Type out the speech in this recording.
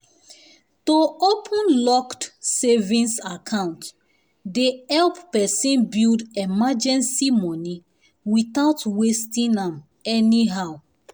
um to open locked savings account dey help person build emergency money without wasting am anyhow.